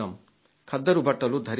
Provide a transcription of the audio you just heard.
ఖద్దరు బట్టలు ధరిద్దాం